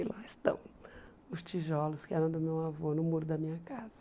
E lá estão os tijolos que eram do meu avô no muro da minha casa.